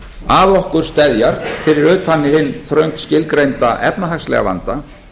að okkur steðjar fyrir utan hinn þröngt skilgreinda efnahagslega vanda